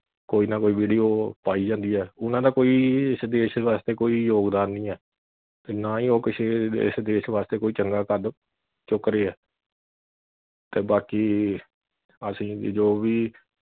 ਕੋਈ ਨਾ ਕੋਈ video ਪਾਈ ਜਾਂਦੀ ਐ ਉਨ੍ਹਾਂ ਦਾ ਕੋਈ ਇਸ ਦੇਸ਼ ਵਾਸਤੇ ਕੋਈ ਯੋਗਦਾਨ ਨਹੀ ਐ ਤੇ ਨਾ ਹੀ ਉਹ ਕਿਸੀ ਇਸ ਦੇਸ਼ ਵਾਸਤੇ ਕੋਈ ਚੰਗਾ ਕੱਦ ਚੁੱਕ ਰਹੇ ਐ ਤੇ ਬਾਕੀ ਅਸੀ ਜੋ ਵੀ